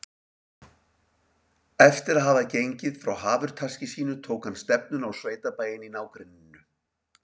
Eftir að hafa gengið frá hafurtaski sínu tók hann stefnuna á sveitabæinn í nágrenninu.